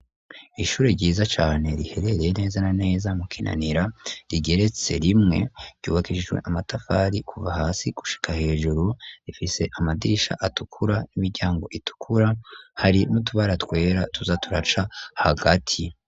Ishure ryiza cane riherereye neza na neza mu kinanira rigeretse rimwe ryubakishijwe amatafari kuva hasi gushika hejuru rifise amadirisha atukura n'imiryango itukura hari n'utubara twera tuza turaca hagati.